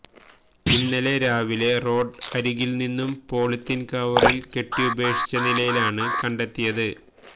ഇന്നലെ രാവിലെ റോഡ് അരികില് നിന്നും പോളിത്തീന് കവറില് കെട്ടി ഉപേക്ഷിച്ച നിലയിയിലാണ് കണ്ടെത്തിയത്